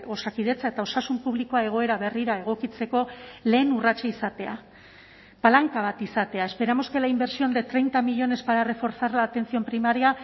osakidetza eta osasun publikoa egoera berrira egokitzeko lehen urratsa izatea palanka bat izatea esperamos que la inversión de treinta millónes para reforzar la atención primaria